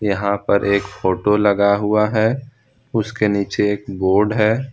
यहां पर एक फोटो लगा हुआ है उसके नीचे एक बोर्ड है।